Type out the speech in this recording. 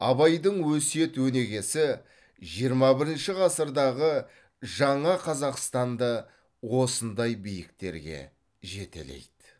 абайдың өсиет өнегесі жиырма бірінші ғасырдағы жаңа қазақстанды осындай биіктерге жетелейді